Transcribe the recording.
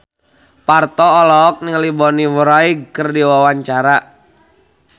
Parto olohok ningali Bonnie Wright keur diwawancara